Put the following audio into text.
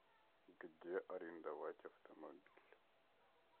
где арендовать автомобиль